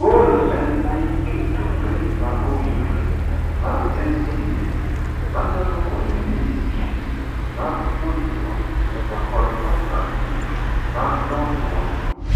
Goal en ni keto range ma owinjore mar estmates manyalo konyo ministries mag puonjruok to kod partners gi mag dongruok